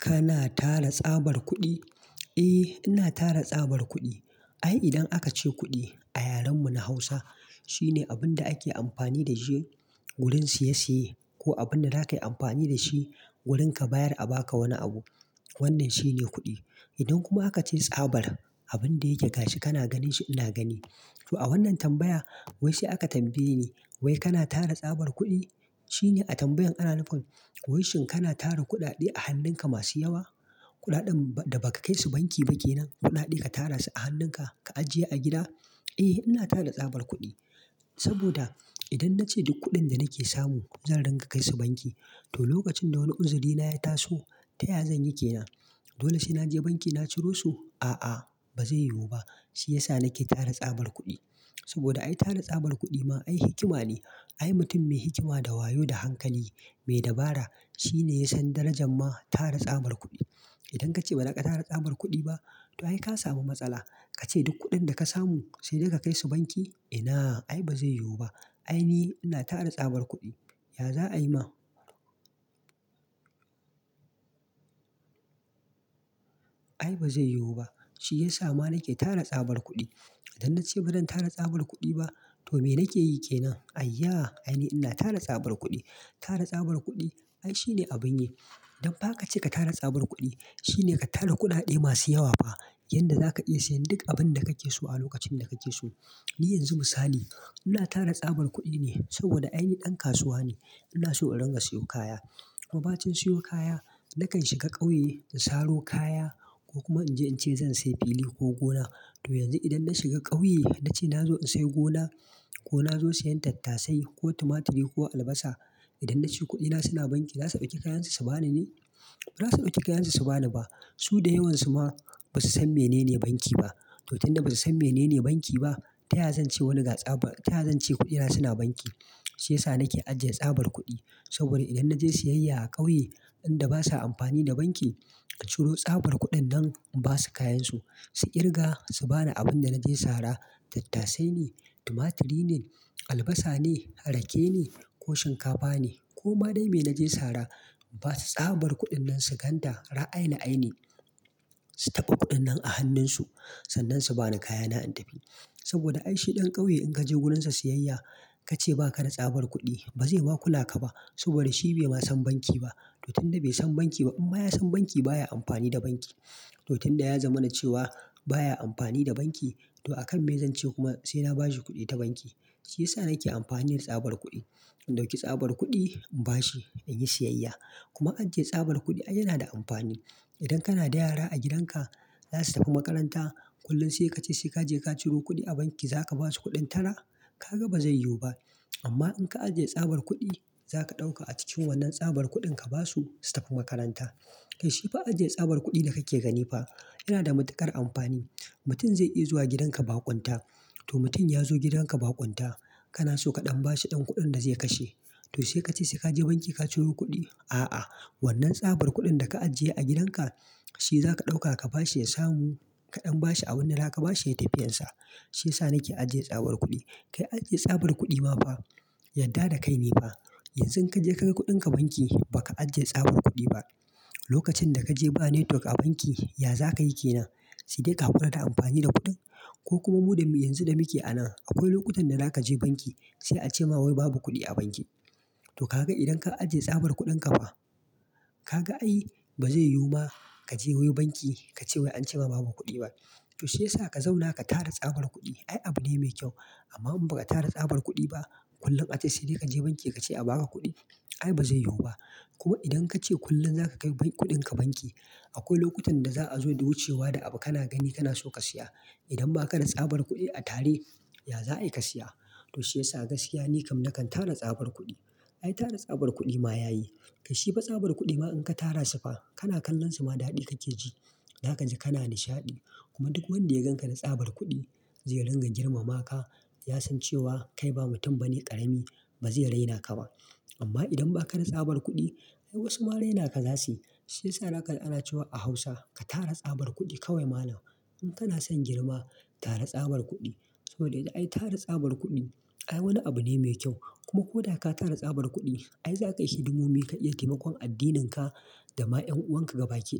Kana tara tsabar kuɗi? Eh, ina tara tsabar kuɗi. Ai idan aka ce kuɗi a yaren mu na Hausa, shine abin da ake amfani da shi wurin siye siye ko abin da za ka yi amfani da shi wurin ka bayar a ba ka wani abu. Wannan shine kuɗi. Idan kuma aka ce tsabar, abin da yake gashi kana ganin shi ina gani. To a wannan tambaya, wai shi aka tambaye ni, "wai kana tara tsabar kuɗi?" shine a tambayan ana nufin, "wai shin kana tara kuɗaɗe a hannun ka masu yawa? Kuɗaɗen da ba ka kai su banki ba kenan. Kuɗaɗe ka tara su a hannun ka, ka ajiye a gida?" Eh, ina tara tsabar kuɗi. Saboda idan na ce duk kuɗin da nake samu zan ringa kai su banki, to lokacin da wani kunzuri na ya taso, taya zan yi ke nan? Dole sai na je banki na ciro su? A'a, ba zai yiwu ba. Shi yasa nake tara tsabar kuɗi. Saboda ai tara tsabar kuɗi ma ai hikima ne. Ai mutum mai hikima da wayo da hankali, mai dabara shine ya san darajan ma tara tsabar kuɗi. Idan ka ce ba za ka tara tsabar kuɗi ba, to ai ka samu matsala, ka ce duk kuɗin da ka samu sai dai ka kai su banki? Ina, ai ba zai yiwu ba. Ai ni ina tara tsabar kuɗi. Ya za a yi ma? Ai ba zai yiwu ba. Shi ya sa ma nake tara tsabar kuɗi. Idan na ce ban tara tsabar kuɗi ba, to me nake yi kenan? Ayya! Ai ni ina tara tsabar kuɗi. Tara tsabar kuɗi ai shine abun yi. Don ba ka ce ka tara tsabar kuɗi, shine ka tara kuɗaɗe masu yawa fa. Wanda za ka iya sayan duk abin da kake so a lokacin da kake so. Ni yanzu misali, ina tara tsabar kuɗi ne saboda ai ni ɗan kasuwa ne. Ina so in ringa siyo kaya. Kuma bacin siyo kaya, na kan shiga ƙauye in saro kaya ko kuma in je in ce zan sayi fili ko gona. To yanzu idan na shiga ƙauye, na ce na zo in sayi gona ko na zo sayan tattasai ko tumaturi ko albasa, idan na ce kuɗina suna banki, za su ɓaki kayansu su ba ni ne? Ba za su dauki kayansu su ba ni ba. Su da yawansu ma ba su san menene banki ba. To tunda ba su san menene banki ba, taya zan ce wani ga tsabar-- taya zan ce kuɗina suna banki? Shi ya sa nake ajiye tsabar kuɗi. Saboda idan na je siyayya a ƙauye, inda basa amfani da banki, in ciro tsabar kuɗin nan in ba su kayansu, su ƙirga, su bani abin da na je sara, tattasai ne, tumaturi ne, albasa ne, rake ne ko shinkafa ne ko ma dai me na je sara, ba su tsabar kuɗin nan su ganta ra'ayil aini. Su taba kuɗin nan a hannun su, sannan su bani kayana in tafi. Saboda ai shi ɗan ƙauye in ka je wurinsa siyayya, ka ce ba ka na tsabar kuɗi, ba zai ma kukaka ba saboda shi bai ma san banki ba. To tun da bai san banki ba, in ma ya san banki baya amfani da banki. To tun da ya zama na cewa baya amfani da banki, to a kan me zan ce kuma sai na ba shi kuɗi ta banki? Shi ya sa nake amfani da tsabar kuɗi. In ɗauki tsabar kuɗi, in ba shi, in yi siyayya. Kuma ajiye tsabar kuɗi ai yana da amfani. Idan kana da yara a gidan ka, za su tafi makaranta, kullum sai ka ce sai ka je ka ciro kuɗi a banki za ka ba su kuɗin tara? Ka ga ba zai yiwu ba. Amma in ka ajiye tsabar kuɗi, za ka ɗauka a cikin wannan tsabar kuɗin ka ba su, su tafi makaranta. Kai shi fa ajiye tsabar kuɗin da kake gani fa yana da matuƙar amfani. Mutum zai iya zuwa gidan ka baƙonta. To mutum ya zo gidan ka baƙonta, kana so ka ɗan ba shi ɗan kuɗin da zai kashe. To sai ka ce sai ka je banki ka ciro kuɗi? A'a, wannan tsabar kuɗin da ka ajiye a gidan ka, shi za ka ɗauka ka bashi ya samu kaɗan bashi a wanda za ka bashi ya tafi yansa. Shi ya sa nake ajiye tsabar kuɗi. Kai ajiye tsabar kuɗi ma fa, yadda da kai ne fa. Yanzu in ka je ka ga kuɗin ka banki, baka ajiye tsabar kuɗi ba, lokacin da ka je ba network a banki, ya za ka yi ke nan? Sai dai ka haƙura da amfani da kuɗin. Ko kuma muda yanzu da muke anan, akwai lokutan da za ka je banki sai a ce ma wai babu kuɗi a banki. To ka ga idan ka ajiye tsabar kuɗin ka fa, ka ga ai ba zai yiwu ma ka je wai banki ka ce wai an ce ma babu kuɗi ba. To shi yasa ka zauna ka tara tsabar kuɗi ai abu ne mai kyau. Amma in ba ka tara tsabar kuɗi ba, kullum a ce sai dai ka je banki ka ce a ba ka kuɗi, ai ba zai yiwu ba. Kuma idan ka ce kullum za ka kai kuɗin ka banki, akwai lokutan da za a zo da wucewa da abu kana gani kana so ka siya. Idan ma ka na tsabar kuɗi a tare, ya za ayi ka siya? To shi yasa gaskiya ni kam na kan tara tsabar kuɗi. Ai tara tsabar kuɗi ma yayi. Kai shi ba tsabar kuɗi ma in ka tara su fa, kana kallon su ma daɗi kake ji. Zakaji kana nishaɗi. Kuma duk wanda ya gan ka da tsabar kuɗi, zai ringa girmama ka. Ya san cewa kai ba mutum bane ƙarami, ba zai raina ka ba. Amma idan ba ka na tsabar kuɗi, ai wasu ma raina ka za su yi. Shiyasa zakaji ana cewa a Hausa, ka tara tsabar kuɗi kawai mallam. In kana son girma, tara tsabar kuɗi. Saboda ai tara tsabar kuɗi ai wani abu ne mai kyau. Kuma ko da ka tara tsabar kuɗi, ai za ka yi hidimomi, ka iya taimakon addininka da ma en wanka gabaki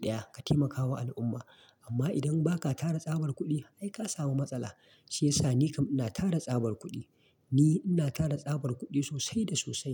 ɗaya ka taimakawa al'umma. Amma idan ba ka tara tsabar kuɗi, ai ka samu matsala. Shi yasa ni kam ina tara tsabar kuɗi. Ni ina tara tsabar kuɗi sosai da sosai.